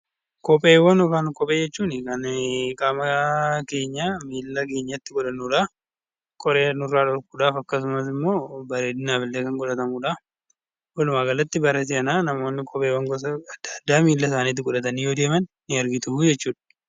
Kopheewwan jechuun kan qaama keenya miila keenyatti godhannudha. Qoree nurraa dhorkuudhaaf akkasumas immoo bareedinaaf illee kan godhatamudha. walumaa galatti namoonni kopheewwan garaagaraa miila isaaniitti godhatanii yommuu deeman ni argitu jechuudha.